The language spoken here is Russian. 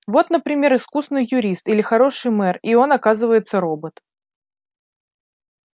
вот например искусный юрист или хороший мэр и он оказывается робот